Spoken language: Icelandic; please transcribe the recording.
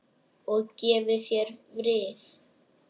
Og gefi þér frið.